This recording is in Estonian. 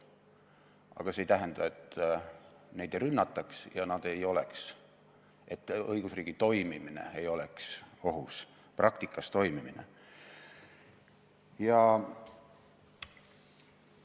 Aga see ei tähenda, et neid ei rünnataks ja et õigusriigi toimimine, praktikas toimimine ei oleks ohus.